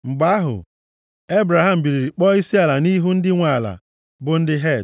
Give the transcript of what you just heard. Mgbe ahụ, Ebraham biliri kpọọ isiala nʼihu ndị nwe ala, bụ ndị Het,